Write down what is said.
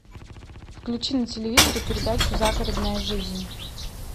включи на телевизоре передачу загородная жизнь